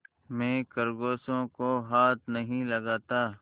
मैं खरगोशों को हाथ नहीं लगाता